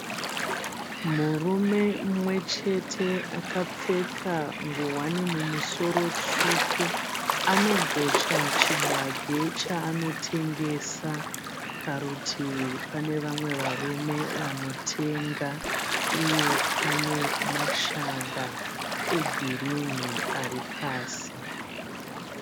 Murume mumwe chete akapfeka nguwani mumusoro tsvuku. Anogocha chibage chaanotengesa. Parutivi pane vamwe varume vanotenga uye pane mashanga egirini ari pasi.